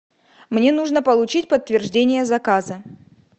мне нужно получить подтверждение заказа